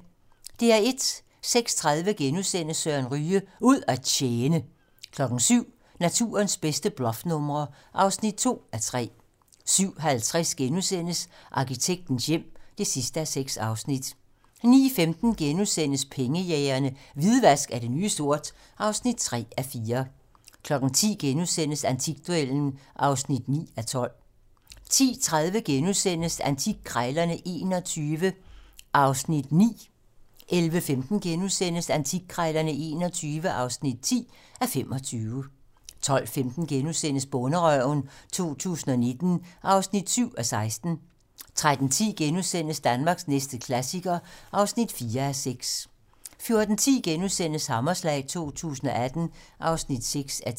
06:30: Søren Ryge: Ud at tjene * 07:00: Naturens bedste bluffnumre (2:3) 07:50: Arkitektens hjem (6:6)* 09:15: Pengejægerne - Hvidvask er det nye sort (3:4)* 10:00: Antikduellen (9:12)* 10:30: Antikkrejlerne XXI (9:25)* 11:15: Antikkrejlerne XXI (10:25)* 12:15: Bonderøven 2019 (7:16)* 13:10: Danmarks næste klassiker (4:6)* 14:10: Hammerslag 2018 (6:10)*